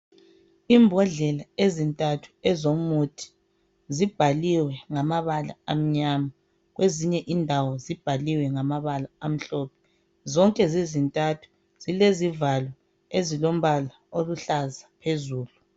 Imbodlela ezintathu ezomuthi zibhaliwe ngamabala amnyama kwezinye indawo zibhaliwe ngamambala amhlophe. Zonke zizintathu zilezivalo ezilombala oluhlaza phezulu.